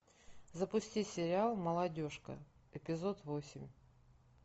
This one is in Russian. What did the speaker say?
запусти сериал молодежка эпизод восемь